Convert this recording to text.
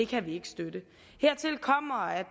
kan vi ikke støtte hertil kommer at